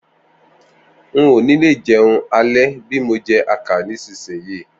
N ò ní lè jẹun alẹ́ bí mo jẹ àkàrà nísinsìnyí